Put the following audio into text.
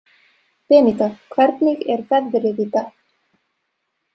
Beníta, hvernig er veðrið í dag?